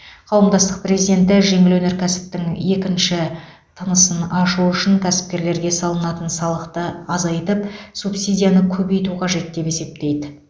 қауымдастық президенті жеңіл өнеркәсіптің екінші тынысын ашу үшін кәсіпкерлерге салынатын салықты азайтып субсидияны көбейту қажет деп есептейді